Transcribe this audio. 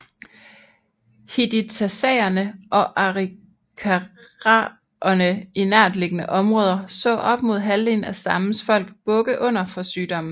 Hidatsaerne og arikaraerne i nærtliggende områder så op mod halvdelen af stammens folk bukke under for sygdommen